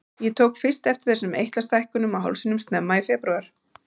Ég tók fyrst eftir þessum eitlastækkunum á hálsinum snemma í febrúar.